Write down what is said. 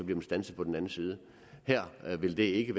den standset på den anden side her vil det ikke